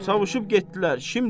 Savuşıb getdilər şimdi.